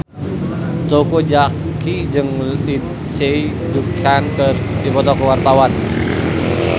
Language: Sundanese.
Teuku Zacky jeung Lindsay Ducan keur dipoto ku wartawan